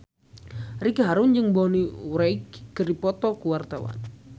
Ricky Harun jeung Bonnie Wright keur dipoto ku wartawan